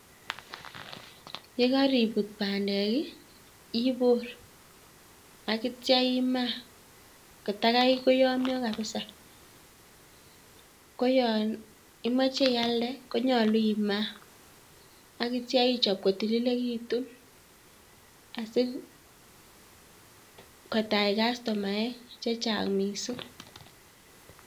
Yekakibut bandek, ibor akitcha imaa kotakai koyamya kabisa. koya imeche ialde, konyolu imaa akitcha ichob kotililikitu asikotach kostomaek chechang' miising'